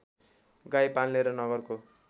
गाई पाल्ने र नगरको